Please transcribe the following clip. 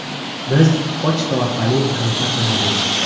Biz pochta orqali aloqa qilardik.